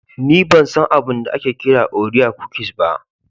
Ni ban san abin da ake kira orea cookies ba.